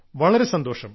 വളരെ സന്തോഷം